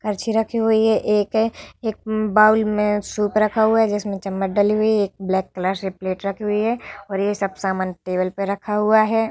करछी रखी हुई है एक है एक बाउल में सूप रखा हुआ जिसमे चम्मच डली हुई एक ब्लैक कलर से प्लेट रखी हुई है और ये सब सामान टेबल पे रखा हुआ है।